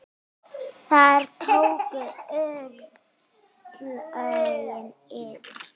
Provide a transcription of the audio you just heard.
Þar tóku örlögin yfir.